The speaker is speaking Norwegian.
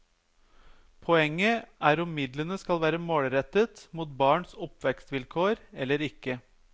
Poenget er om midlene skal være målrettet mot barns oppvekstvilkår eller ikke.